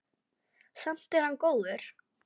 Samt er hann góður.